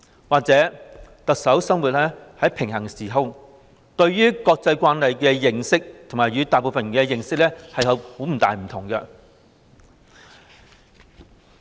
或許特首生活在平行時空，對於"國際慣例"的認識與大部分人不同。